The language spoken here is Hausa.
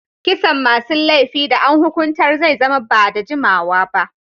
Kisan masun laifi da an hukuntar zai zama ba'da jimawa ba.